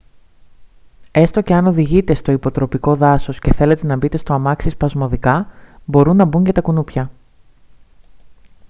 έστω και αν οδηγείτε στο υποτροπικό δάσος και θέλετε να μπείτε στο αμάξι σπασμωδικά μπορούν να μπουν και τα κουνούπια